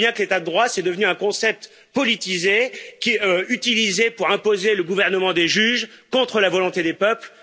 On voit bien que l'état de droit est devenu un concept politisé qui est utilisé pour imposer le gouvernement des juges contre la volonté des peuples.